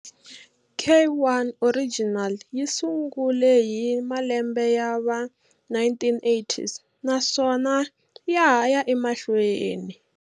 Ky original yi sungule hi malembe yava 1980s naswona ya ha ya emahlweni.